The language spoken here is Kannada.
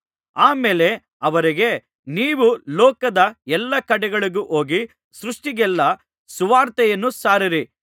ಆ ಮೇಲೆ ಅವರಿಗೆ ನೀವು ಲೋಕದ ಎಲ್ಲಾ ಕಡೆಗಳಿಗೂ ಹೋಗಿ ಸೃಷ್ಟಿಗಳಿಗೆಲ್ಲಾ ಸುವಾರ್ತೆಯನ್ನು ಸಾರಿರಿ